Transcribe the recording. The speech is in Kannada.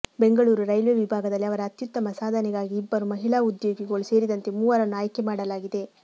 ಬೆಂಗಳೂರು ರೈಲ್ವೆ ವಿಭಾಗದಲ್ಲಿ ಅವರ ಅತ್ಯುತ್ತಮ ಸಾಧನೆಗಾಗಿ ಇಬ್ಬರು ಮಹಿಳಾ ಉದ್ಯೋಗಿಗಳು ಸೇರಿದಂತೆ ಮೂವರನ್ನು ಆಯ್ಕೆ ಮಾಡಲಾಗಿದೆ